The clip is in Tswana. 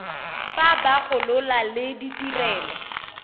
fa ba gola le ditirelo